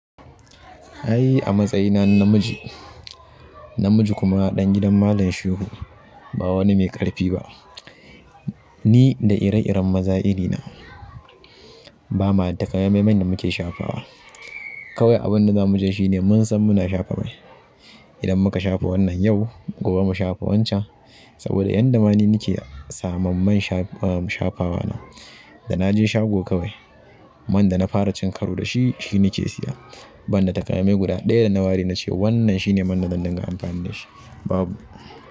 Ai a matsayina na namiji, namiji kuma ɗan gidan Malam Shehu ba wani mai ƙarfi ba. Ni da ire-iren maza irina ba ma da takamaiman man da muke shafawa. Kawai abin da za mu ce shine mun san muna shafa mai. Idan muka shafa wannan yau, gobe mu shafa wancan. Saboda yanda ma ni nike samun man shafawa na, da naje shago kawai man da na fara cin karo da shi, shi nake siya. Ban da takamaimai guda ɗaya da na wari na ce wannan shine man da zan dinga amfani da shi, babu.